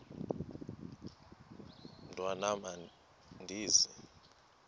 mntwan am andizi